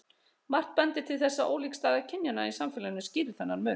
Margt bendir til þess að ólík staða kynjanna í samfélaginu skýri þennan mun.